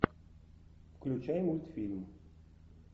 включай мультфильм